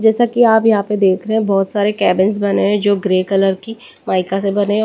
जैसा कि आप यहां पे देख रहे हैं बहुत सारे कैबिन्स बने हैं जो ग्रे कलर की माइका से बने हैं।